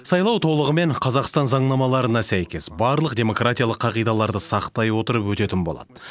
сайлау толығымен қазақстан заңнамаларына сәйкес барлық демократиялық қағидаларды сақтай отырып өтетін болады